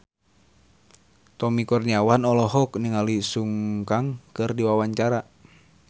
Tommy Kurniawan olohok ningali Sun Kang keur diwawancara